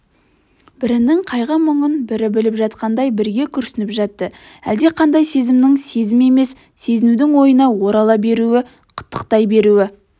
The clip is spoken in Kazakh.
бірінің қайғы-мұңын бірі біліп жатқандай бірге күрсініп жатты әлдеқандай сезімнің сезім емес сезінудің ойыңа орала беруі қытықтай беруі